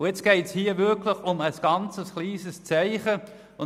Hier geht es wirklich um ein ganz kleines Zeichen.